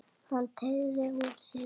Hann áttaði sig.